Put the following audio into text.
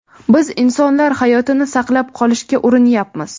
Biz insonlar hayotini saqlab qolishga urinyapmiz.